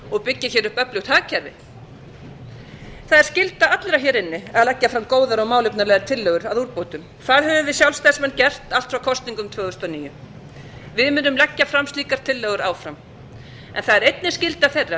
og byggja upp öflugt hagkerfi það er skylda allra hér inni að leggja fram góðar og málefnalegar tillögur að úrbótum það höfum við sjálfstæðismenn gert allt frá kosningum tvö þúsund og níu við munum leggja fram slíkar tillögur áfram en það er einnig skylda þeirra